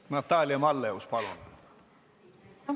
Natalia Malleus, palun!